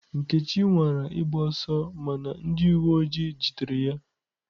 Nkechi nwara ịgba ọsọ mana ndị uwe ojii jidere ya.